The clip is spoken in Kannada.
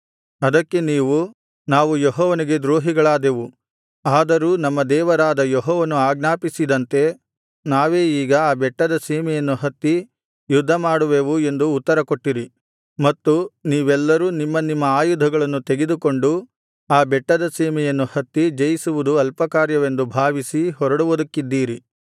ಅದಕ್ಕೆ ನೀವು ನಾವು ಯೆಹೋವನಿಗೆ ದ್ರೋಹಿಗಳಾದೆವು ಆದರೂ ನಮ್ಮ ದೇವರಾದ ಯೆಹೋವನು ಆಜ್ಞಾಪಿಸಿದಂತೆ ನಾವೇ ಈಗ ಆ ಬೆಟ್ಟದ ಸೀಮೆಯನ್ನು ಹತ್ತಿ ಯುದ್ಧಮಾಡುವೆವು ಎಂದು ಉತ್ತರಕೊಟ್ಟಿರಿ ಮತ್ತು ನೀವೆಲ್ಲರೂ ನಿಮ್ಮ ನಿಮ್ಮ ಆಯುಧಗಳನ್ನು ತೆಗೆದುಕೊಂಡು ಆ ಬೆಟ್ಟದ ಸೀಮೆಯನ್ನು ಹತ್ತಿ ಜಯಿಸುವುದು ಅಲ್ಪಕಾರ್ಯವೆಂದು ಭಾವಿಸಿ ಹೊರಡುವುದಕ್ಕಿದ್ದಿರಿ